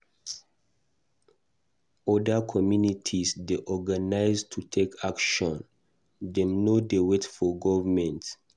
Oda communities dey organize to take action; dem no dey wait for government.